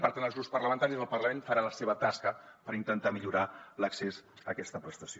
i per tant els grups parlamentaris al parlament faran la seva tasca per intentar millorar l’accés a aquesta prestació